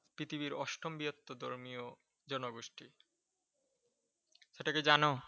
পৃথিবীর অষ্টম বৃহত্তর ধর্মীয় জনগোষ্ঠী। এটা কি জানো?